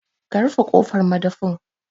Ka rufe kofar madafin